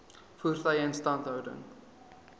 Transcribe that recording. voertuie instandhouding